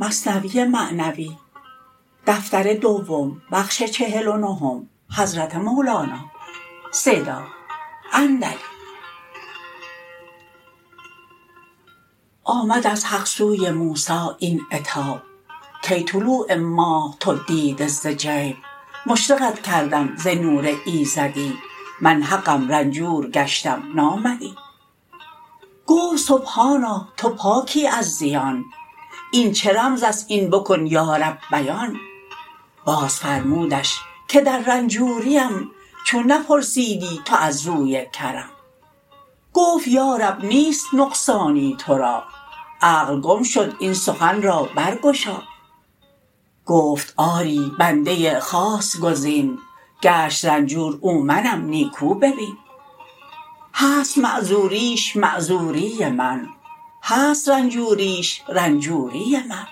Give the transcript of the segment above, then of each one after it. آمد از حق سوی موسی این عتاب کای طلوع ماه دیده تو ز جیب مشرقت کردم ز نور ایزدی من حقم رنجور گشتم نامدی گفت سبحانا تو پاکی از زیان این چه رمزست این بکن یا رب بیان باز فرمودش که در رنجوریم چون نپرسیدی تو از روی کرم گفت یا رب نیست نقصانی تو را عقل گم شد این سخن را برگشا گفت آری بنده خاص گزین گشت رنجور او منم نیکو ببین هست معذوریش معذوری من هست رنجوریش رنجوری من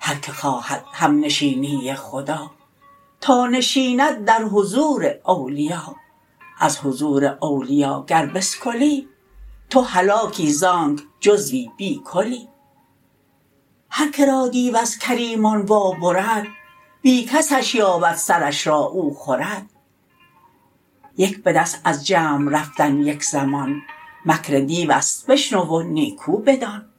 هر که خواهد همنشینی خدا تا نشیند در حضور اولیا از حضور اولیا گر بسکلی تو هلاکی زانک جزوی بی کلی هر که را دیو از کریمان وا برد بی کسش یابد سرش را او خورد یک بدست از جمع رفتن یک زمان مکر دیوست بشنو و نیکو بدان